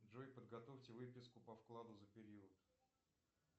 джой подготовьте выписку по вкладу за период